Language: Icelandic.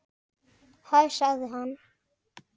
Hæ sagði hann.